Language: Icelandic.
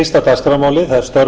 dagskrármálin er lokið